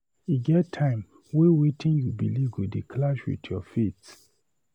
E get time wey wetin you beliv go dey clash wit your faith.